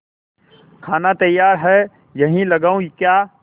खाना तैयार है यहीं लगाऊँ क्या